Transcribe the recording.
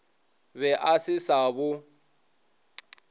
be a se sa bo